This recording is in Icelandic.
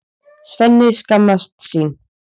Svenni skammast sín.